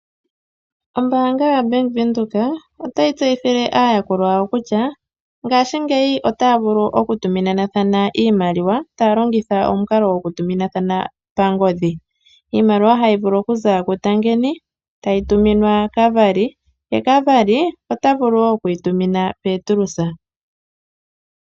Ombaanga yaBank Windhoek otayi tseyithile aayakulwa yawo kutya ngaashingeyi otaya vulu okutuminathana iimaliwa taya longitha omukalo goku tuminathana pangodhi. Iimaliwa hayi vulu okuza ku Tangeni tayi tuminwa Kavari , ye Kavari ota vulu wo oku yi tumina Petrus.